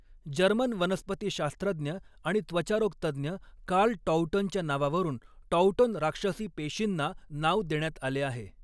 German वनस्पतीशास्त्रज्ञ आणि त्वचारोग तज्ज्ञ कार्ल टॉउटनच्या नावावरून टॉउटन राक्षसी पेशींना नाव देण्यात आले आहे.